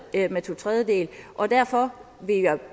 med to tredjedele og derfor